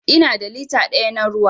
Ina da lita daya na ruwa.